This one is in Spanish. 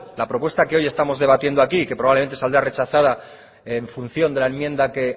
la propuesta que hoy estamos debatiendo aquí y que probablemente saldrá rechazada en función de la enmienda que